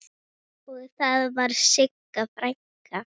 Og þar var Sigga frænka.